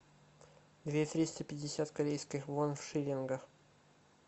две триста пятьдесят корейских вон в шиллингах